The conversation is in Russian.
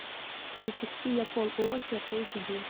запусти я пол уокер эйч ди